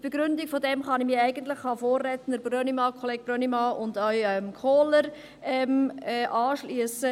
Zur Begründung dessen kann ich mich den Vorrednern Brönnimann und Kohler anschliessen.